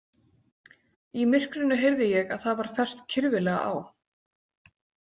Í myrkrinu heyrði ég að það var fest kyrfilega á.